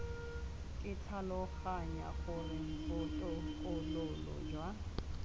ke tlhaloganya gore botokololo jwa